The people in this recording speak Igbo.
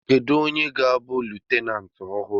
Kedu onye ga-abụ leftenanti ọhụrụ?